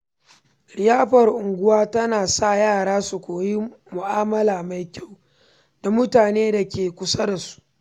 Liyafar unguwa tana sa yara su koyi mu’amala mai kyau da mutanen da ke kusa da su.